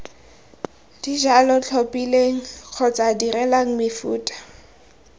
dijalo tlhophileng kgotsa dirileng mefuta